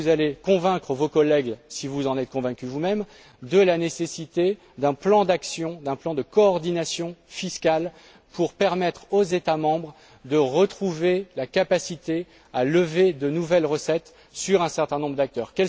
Comment allez vous convaincre vos collègues si vous en êtes convaincu vous même de la nécessité d'un plan d'action, d'un plan de coordination fiscale pour permettre aux États membres de retrouver la capacité de lever de nouvelles recettes sur un certain nombre d'accords?